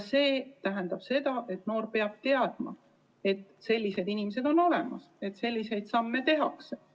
See tähendab seda, et noor peab teadma, et sellised inimesed on olemas ja et selliseid samme tehakse.